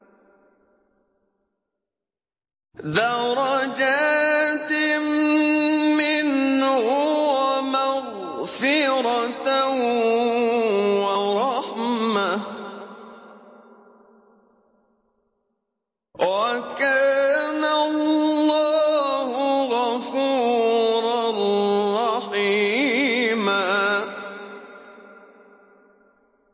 دَرَجَاتٍ مِّنْهُ وَمَغْفِرَةً وَرَحْمَةً ۚ وَكَانَ اللَّهُ غَفُورًا رَّحِيمًا